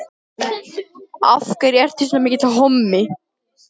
Það tókst, því miður.